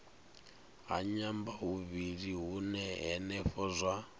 a nyambahuvhili hune henefho zwa